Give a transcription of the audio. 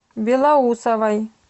белоусовой